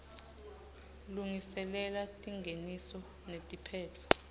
lungiselela tingeniso netiphetfo